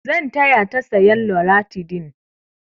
Zan taya ta sayan loratidin.